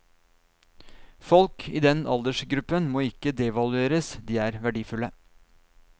Folk i den aldersgruppen må ikke devalueres, de er verdifulle.